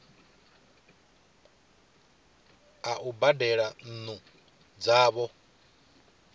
a u badela nnu dzavho